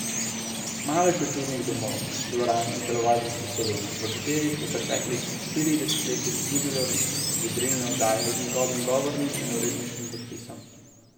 Malo je kulturnih domov, dvoran in telovadnic po Sloveniji, v katerih v preteklih štirih desetletjih ni bilo razvedrilne oddaje z njegovim govornim in uredniškim podpisom.